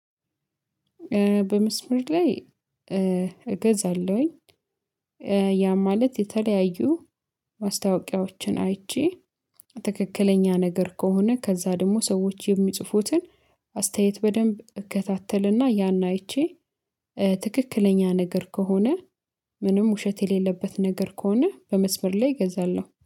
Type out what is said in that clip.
በመስመር ላይ እገዛለሁኝ። ያ ማለት የተለያዩ ማስታወቂያዎችን አይቼ ትክክለኛ ነገር ከሆነ ከዛ ደግሞ ሰዎች የሚጽፉትን አስተያየት በደንብ እከታተልና ያን አይቼ ትክክለኛ ነገር ከሆነ ምንም ውሸት የሌለበት ነገር ከሆነ በመስመር ላይ እገዛለሁ